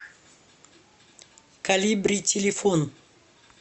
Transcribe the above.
колибри телефон